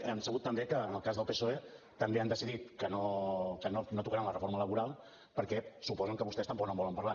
hem sabut també que en el cas del psoe també han decidit que no tocaran la reforma laboral perquè suposen que vostès tampoc no en volen parlar